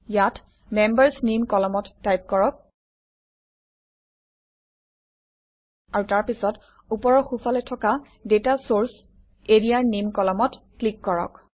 ইয়াত members name কলমত type কৰক আৰু তাৰপিছত ওপৰৰ সোঁফালে থকা ডাটা চৰ্চ এৰিয়াৰ নেম কলমত ক্লিক কৰক